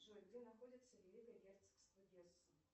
джой где находится великое герцогство гессен